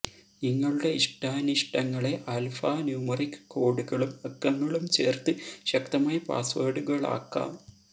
നിങ്ങളുടെ ഇഷ്ടാനിഷ്ടങ്ങളെ alpha numeric കോഡുകളും അക്കങ്ങളും ചേർത്ത് ശക്തമായ പാസ്വേർഡുകളാക്കാം